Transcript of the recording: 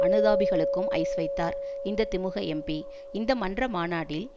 அனுதாபிகளுக்கும் ice வைத்தார் இந்த திமுக எம்பி இந்த மன்ற மாநாடில்